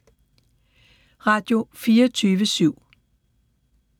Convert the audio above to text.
Radio24syv